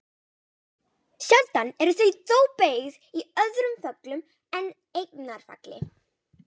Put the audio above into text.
Sjaldan eru þau þó beygð í öðrum föllum en eignarfalli.